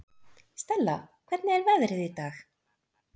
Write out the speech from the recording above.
Stella, hvernig er veðrið í dag?